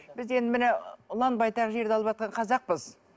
бізде енді міне ұлан байтақ жерді алыватқан қазақпыз